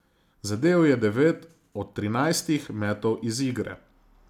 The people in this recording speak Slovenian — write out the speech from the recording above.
Zadel je devet od trinajstih metov iz igre.